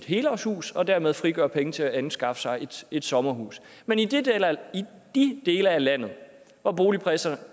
helårshus og dermed frigjort penge til at anskaffe sig et sommerhus men i de dele af landet hvor boligpriserne